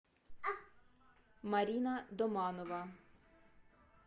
марина доманова